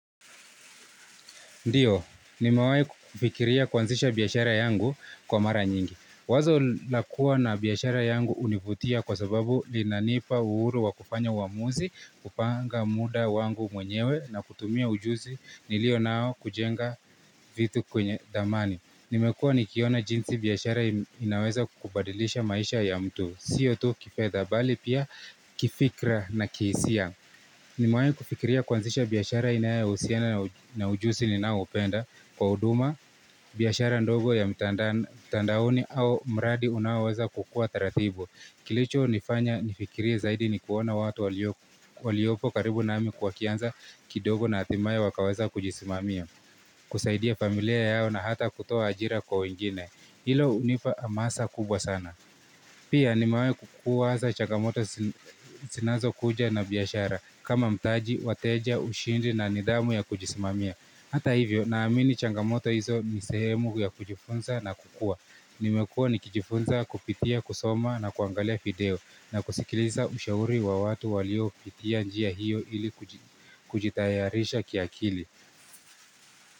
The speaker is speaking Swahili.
Ndiyo, nimewahi kufikiria kuanzisha biashara yangu kwa mara nyingi. Wazo lakua na biashara yangu hunivutia kwa sababu linanipa uhuru wa kufanya uamuzi, kupanga muda wangu mwenyewe na kutumia ujuzi nilio nao kujenga vitu kwenye dhamani. Nimekua nikiona jinsi biashara inaweza kubadilisha maisha ya mtu. Siyo tu kifedha bali pia kifikra na kihisia Nimewahi kufikiria kuanzisha biashara inayo husiana na ujuzi ninao upenda kwa huduma, biashara ndogo ya mitandaoni au mradi unaoweza kukua taratibu. Kilicho nifanya nifikirie zaidi ni kuona watu waliopo karibu nami wakianza kidogo na hatimaye wakaweza kujisimamia, kusaidia familia yao na hata kutoa ajira kwa wengine. Hilo hunipa hamasa kubwa sana. Pia nimewahi kuwaza changamoto zinazokuja na biashara kama mtaji, wateja, ushindi na nidhamu ya kujisimamia. Hata hivyo na amini changamoto hizo nisehemu ya kujifunza na kukua. Nimekua nikijifunza kupitia, kusoma na kuangalia video na kusikiliza ushauri wa watu walio pitia njia hiyo ili kujitayarisha kiakili.